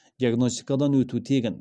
диагностикадан өту тегін